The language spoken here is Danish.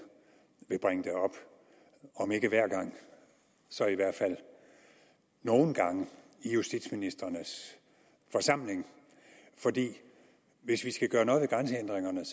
vil bringe det op om ikke hver gang så i hvert fald nogle gange i justitsministrenes forsamling for hvis vi skal gøre noget ved grænsehindringerne